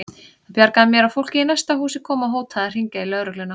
Það bjargaði mér að fólkið í næsta húsi kom og hótaði að hringja í lögregluna.